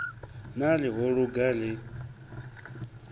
na ri ho luga ri